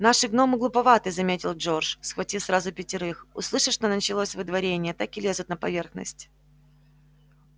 наши гномы глуповаты заметил джордж схватив сразу пятерых услышат что началось выдворение так и лезут на поверхность